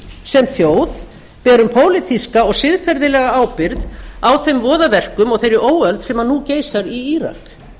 sem þjóð berum pólitíska og siðferðilega ábyrgð á þeim voðaverkum og þeirri óöld sem nú geisar í írak